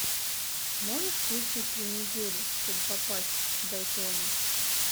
можешь включить три недели чтобы попасть в дайтону